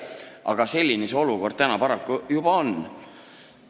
Aga selline see olukord paraku juba on.